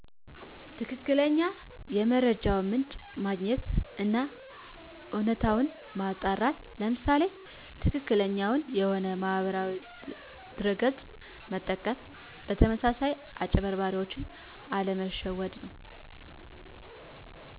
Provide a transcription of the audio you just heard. ትክክለኛ የመረጃውን ምንጭ ማግኘት አና እውነታውን ማጣራት ለምሳሌ ትክክለኛውን የሆነ ማህበራዊ ድረ ገፅ መጠቀም በተመሳሳይ አጭበርባሪዎች አለመሸወድ ነው